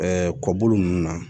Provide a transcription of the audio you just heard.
kɔbolo ninnu na